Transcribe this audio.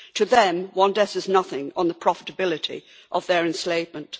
To them one death is nothing on the profitability of their enslavement.